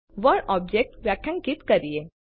ચાલો word object વ્યાખ્યાયિત કરીએ